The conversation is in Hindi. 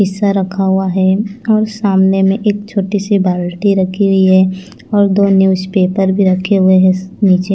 शिशा रखा हुआ है और सामने में एक छोटी सी बाल्टी रखी हुई है और दो न्यूजपेपर भी रखे हुए हैं नीचे--